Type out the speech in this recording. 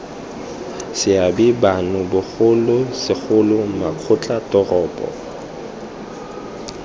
seabe bano bogolo segolo makgotlatoropo